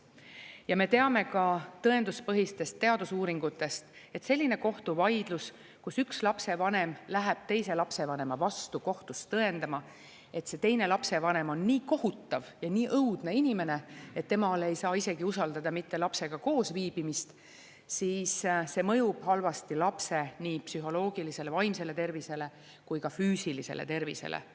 Ja me teame ka tõenduspõhistest teadusuuringutest, et selline kohtuvaidlus, kus üks lapsevanem läheb teise lapsevanema vastu kohtus tõendama, et see teine lapsevanem on nii kohutav ja nii õudne inimene, et temale ei saa usaldada isegi mitte lapsega koos viibimist, siis see mõjub halvasti lapse nii psühholoogilisele, vaimsele tervisele kui ka füüsilisele tervisele.